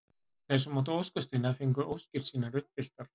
Þeir sem áttu óskasteina fengu óskir sínar uppfylltar.